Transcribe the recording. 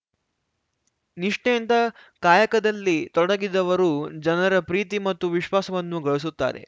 ನಿಷ್ಠೆಯಿಂದ ಕಾಯಕದಲ್ಲಿ ತೊಡಗಿದವರು ಜನರ ಪ್ರೀತಿ ಮತ್ತು ವಿಶ್ವಾಸವನ್ನು ಗಳಿಸುತ್ತಾರೆ